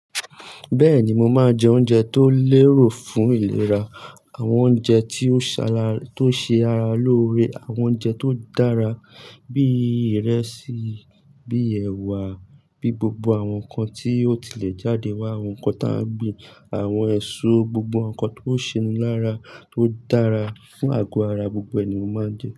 Bẹ́ẹ̀ ni, mo máa jẹ oúnjẹ tó lérò fún ìlera, àwọn oúnjẹ tí ó ṣe ara lóore, àwọn oúnjẹ tó dára bí ìrẹsì, bí ẹwà, bí gbogbo àwọn nǹkan tí ó tilẹ̀ jáde wá, àwọn nǹkan tá ń gbin, àwọn èso, gbogbo àwọn nǹkan tó ṣe lára tó dára fún àgọ́ ara gbogbo ẹ̀ ni mo máa njẹ.